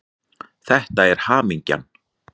Þetta er hamingjan.